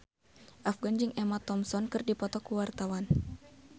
Afgan jeung Emma Thompson keur dipoto ku wartawan